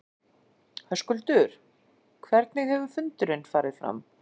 Höskuldur hvernig hefur fundurinn farið fram?